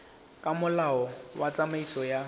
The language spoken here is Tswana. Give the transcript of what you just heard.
ka molao wa tsamaiso ya